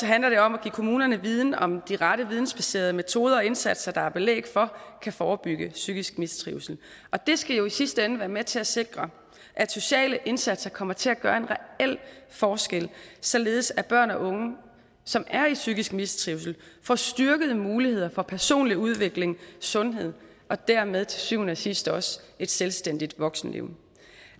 handler det om at give kommunerne viden om de rette vidensbaserede metoder og indsatser der er belæg for kan forebygge psykisk mistrivsel og det skal jo i sidste ende være med til at sikre at sociale indsatser kommer til at gøre en reel forskel således at børn og unge som er i psykisk mistrivsel får styrkede muligheder for personlig udvikling sundhed og dermed til syvende og sidst også et selvstændigt voksenliv